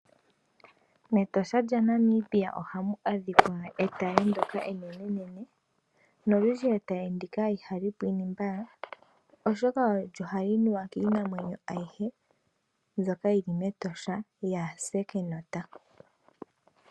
MEtosha lya Namibia ohamu adhika etaye ndoka enenene, nolundji etaye ndika ihali pwinine mbala oshoka ohali nuwa kiinamwenyo ayihe mbyoka yili mEtosha yase eenota.